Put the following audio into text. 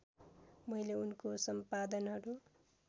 मैले उनको सम्पादनहरू